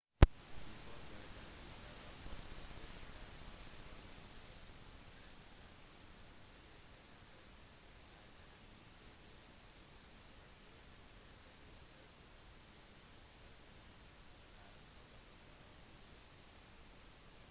ifølge den siste rapporten viste havnivåmålinger at en tsunami ble generert en del tydelig tsunamiaktivitet ble registrert i nærheten av pago pago og niue